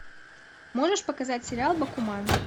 можешь показать сериал бакуман